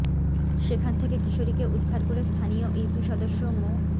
সেখান থেকে কিশোরীকে উদ্ধার করে স্থানীয় ইউপি সদস্য মো